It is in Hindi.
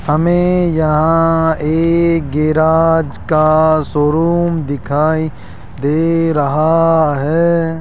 हमें यहां एक गेराज का शोरूम दिखाई दे रहा है।